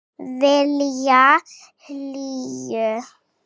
Vilja hlýju.